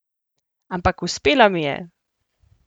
Ampak uspelo mi je!